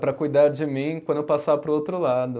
Para cuidar de mim quando eu passar para o outro lado.